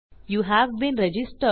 you have been registered